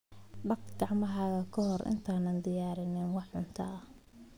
Dhaq gacmahaaga ka hor intaadan diyaarin wax cunto ah.